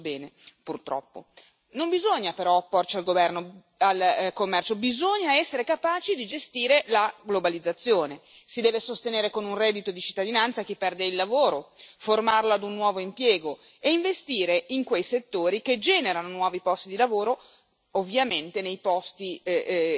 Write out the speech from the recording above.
Ed io che mi occupo di commercio internazionale lo so bene, purtroppo. Non bisogna però opporsi al commercio, bisogna essere capaci di gestire la globalizzazione, si deve sostenere con un reddito di cittadinanza chi perde il lavoro, formarlo ad un nuovo impiego e investire in quei settori che generano nuovi posti di lavoro,